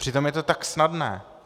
Přitom je to tak snadné.